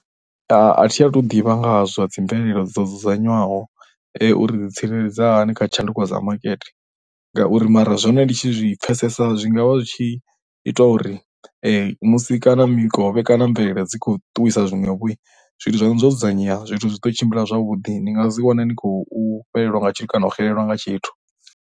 A thu athu ḓivha nga ha zwa dzi ndaela dzo dzudzanywaho uri ri ḓi tsireledza hani kha tshanduko dza makete ngauri mara zwone ndi tshi zwi pfhesesa zwi nga vha zwi tshi ita uri musi kana mikovhe kana mvelele dzi khou ṱuwisa zwiṅwevho. Zwithu zwaṋu zwo dzudzanyea zwithu zwi ḓo tshimbila zwavhuḓi ndi nga si wane nd khou fhelelwa nga tshithu kana u xelelwa nga tshithu.